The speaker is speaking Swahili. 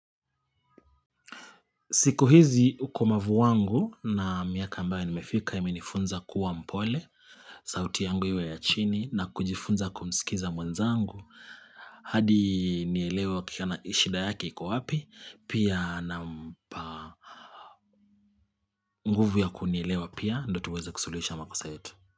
Siku hizi ukomavu wangu na miaka ambaye nimefika imenifunza kuwa mpole, sauti yangu iwe ya chini na kujifunza kumsikiza mwenzangu. Hadi nielewa kiana ishida yaki kwa wapi, pia na nguvu ya kunielewa pia ndo tuweza kusulisha makasa yetu.